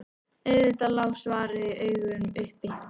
Auðvitað lá svarið í augum uppi.